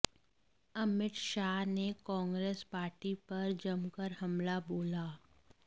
अमित शाह ने कांग्रेस पार्टी पर जमकर हमला बोला